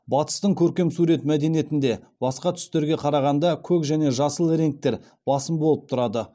батыстың көркем сурет мәдениетінде басқа түстерге қарағанда көк және жасыл реңктер басым болып тұрады